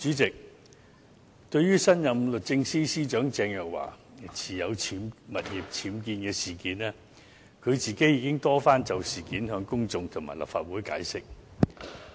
主席，對於新任律政司司長鄭若驊的物業僭建事件，她已多番就事件向公眾及立法會解釋。